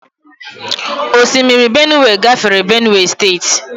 Osimiri Benue gafere Benue steeti.